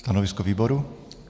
Stanovisko výboru?